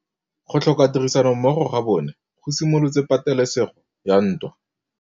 Go tlhoka tirsanommogo ga bone go simolotse patêlêsêgô ya ntwa.